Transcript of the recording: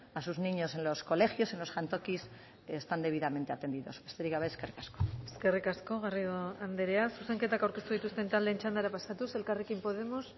a sus niños en los colegios en los jantokis están debidamente atendidos besterik gabe eskerrik asko eskerrik asko garrido andrea zuzenketak aurkeztu dituzten taldeen txandara pasatuz elkarrekin podemos